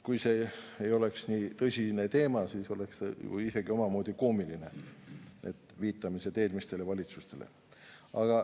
Kui see ei oleks nii tõsine teema, siis see oleks ju isegi omamoodi koomiline – need viitamised eelmistele valitsustele.